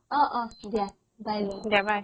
অ অ দিয়া bye bye